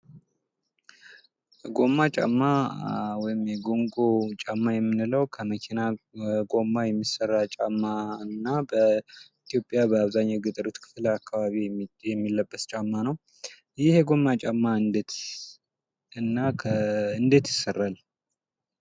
ጎማ ጫማ ወይም ደግሞ የኮንጎ ጫማ የምንለው ከመኪና ጎማ የሚሰራ ጫማ እና በኢትዮጵያ በአብዛኛው የገጠራማ ክፍል ክፍል አካባቢ የሚለበስ ጫማ ነው። ይህ የጎማ ጫማ እንዴት ይሰራል?